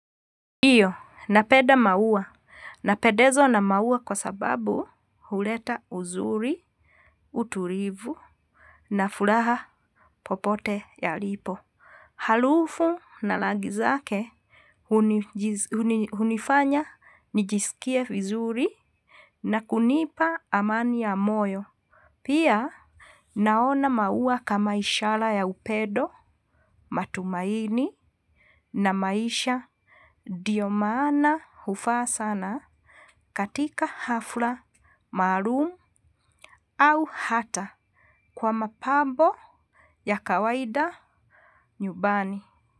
Ndiyo, napenda maua. Napendezwa na maua kwa sababu huleta uzuri, utulivu, na furaha popote yalipo. Harufu na rangi zake hunifanya nijisikie vizuri na kunipa amani ya moyo. Pia, naona maua kama ishara ya upendo, matumaini na maisha. Ndio maana hufaa sana katika hafla, maalum au hata kwa mapambo ya kawaida nyumbani.